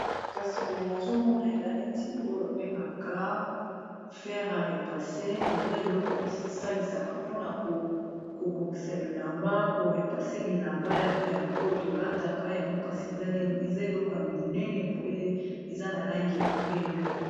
kasi boye nazomona eza neti oyo babengaka ferarépasse eza eloko basalisaka mpona kobongisa bilamba korepasse bilamba oyo tolataka yango kasi eza eloko ya monene boye eza na langi ya pembe